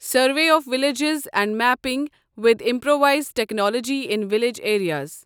survey of villages and mapping with improvised technology in village areas